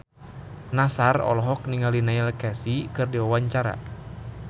Nassar olohok ningali Neil Casey keur diwawancara